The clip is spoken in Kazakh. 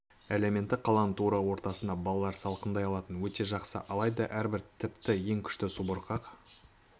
элементі қаланың тура ортасында балалар салқындай алатыны өте жақсы алайда әрбір тіпті ең күшті субұрқақ